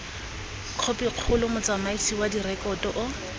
khopikgolo motsamaisi wa direkoto o